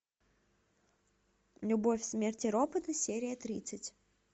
любовь смерть и роботы серия тридцать